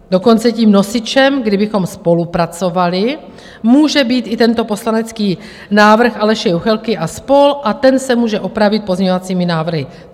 Dokonce tím nosičem, kdybychom spolupracovali, může být i tento poslanecký návrh Aleše Juchelky a spol. a ten se může opravit pozměňovacími návrhy.